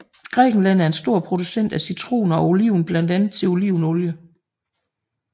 Grækenland er en stor producent af citroner og oliven blandt andet til olivenolie